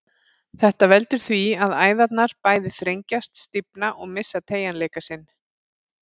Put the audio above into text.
Þetta veldur því að æðarnar bæði þrengjast, stífna og missa teygjanleika sinn.